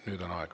Nüüd on aeg.